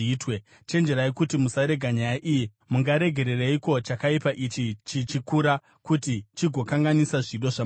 Chenjererai kuti musarega nyaya iyi. Mungaregereiko chakaipa ichi chichikura, kuti chigokanganisa zvido zvamambo?